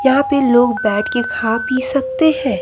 यहां पे लोग बैठके खा पी सकते हैं।